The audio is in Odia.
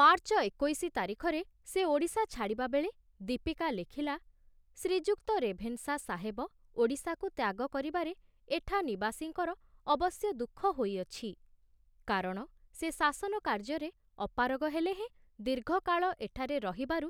ମାର୍ଚ୍ଚ ଏକୋଇଶି ତାରିଖରେ ସେ ଓଡ଼ିଶା ଛାଡ଼ିବାବେଳେ ଦୀପିକା ଲେଖିଲା, ଶ୍ରୀଯୁକ୍ତ ରେଭେନଶା ସାହେବ ଓଡ଼ିଶାକୁ ତ୍ୟାଗ କରିବାରେ ଏଠା ନିବାସୀଙ୍କର ଅବଶ୍ୟ ଦୁଃଖ ହୋଇଅଛି, କାରଣ ସେ ଶାସନ କାର୍ଯ୍ୟରେ ଅପାରଗ ହେଲେ ହେଁ ଦୀର୍ଘକାଳ ଏଠାରେ ରହିବାରୁ